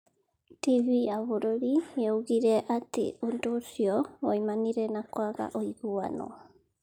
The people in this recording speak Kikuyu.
TV ya bũrũri nĩ yoigire atĩ ũndũ ũcio woimanire na kwaga ũiguano.